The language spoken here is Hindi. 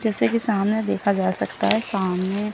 जैसे कि सामने देखा जा सकता है सामने--